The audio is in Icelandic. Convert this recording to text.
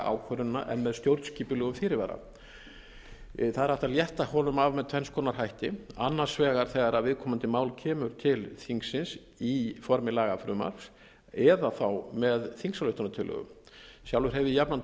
ákvörðunina en með stjórnskipulegum fyrirvara það er hægt að létta honum af með tvenns konar hætti annars vegar þegar viðkomandi mál kemur til þingsins í formi lagafrumvarps eða þá með þingsályktunartillögu sjálfur hef ég jafnan